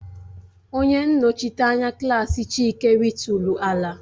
Onye nnochite anya klaasị Chike ritụrụ ala